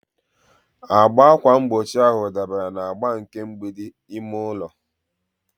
Agba ákwà mgbochi ahụ dabara na agba nke mgbidi ime ụlọ.